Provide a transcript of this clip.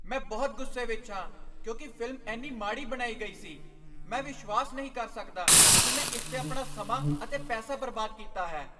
ਮੈਂ ਬਹੁਤ ਗੁੱਸੇ ਵਿਚ ਹਾਂ ਕਿਉਂਕਿ ਫ਼ਿਲਮ ਇੰਨੀ ਮਾੜੀ ਬਣਾਈ ਗਈ ਸੀ। ਮੈਂ ਵਿਸ਼ਵਾਸ ਨਹੀਂ ਕਰ ਸਕਦਾ ਕਿ ਮੈਂ ਇਸ 'ਤੇ ਆਪਣਾ ਸਮਾਂ ਅਤੇ ਪੈਸਾ ਬਰਬਾਦ ਕੀਤਾ ਹੈ।